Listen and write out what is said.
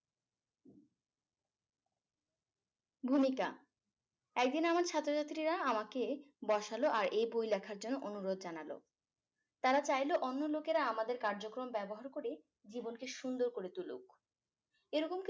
ভূমিকা একদিন আমার ছাত্রছাত্রীরা আমাকে বসালো আর এই বই লেখার জন্য অনুরোধ জানালো তারা চাইলো অন্য লোকেরা আমাদের কার্যক্রম ব্যবহার করে জীবনকে সুন্দর করে তুলুক এরকম